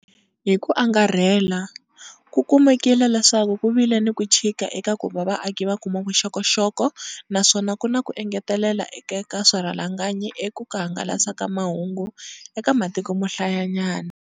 Hi ku angarhela, ku kumekile leswaku ku vile ni ku chika eka ku va vaaki va kuma vuxokoxoko naswona ku va na ku engeteleleka eka swirhalanganyi eka ku hangalasa mahungu eka matiko mo hlayanyana.